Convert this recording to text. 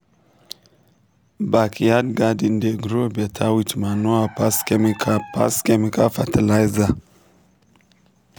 backyard garden dey grow better with manure pass chemical pass chemical fertiliser.